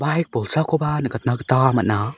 baik bolsakoba nikatna gita man·a.